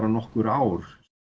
nokkur ár